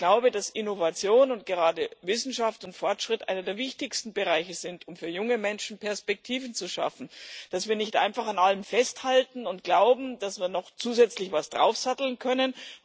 Und ich glaube, dass Innovation und gerade Wissenschaft und Fortschritt einer der wichtigsten Bereiche sind, um für junge Menschen Perspektiven zu schaffen, dass wir nicht einfach an allem festhalten und glauben, dass wir noch zusätzlich etwas draufsatteln können.